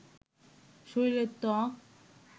শরীরের ত্বক